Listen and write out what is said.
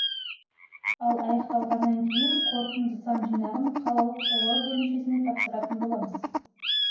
ал аяқталғаннан кейін қорытынды сан жинағын қалалық сайлау бөлімшесіне тапсыратын боламыз